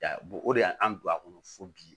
o de y'an don a kɔnɔ fo bi